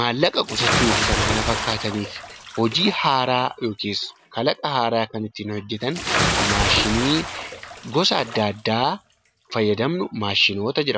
maallaqa qusachuu fi kan kana fakkaataniif hojii haaraa yookiis kalaqa haaraa kan ittiin hojjetan maashinii gosa addaa addaa fayyadamnu 'Maashinoota' jedhamu.